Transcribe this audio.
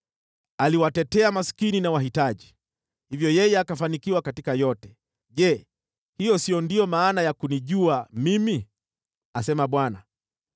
Aliwatetea maskini na wahitaji, hivyo yeye akafanikiwa katika yote. Je, hiyo si ndiyo maana ya kunijua mimi?” asema Bwana .